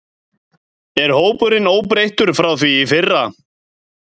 Er hópurinn óbreyttur frá því í fyrra?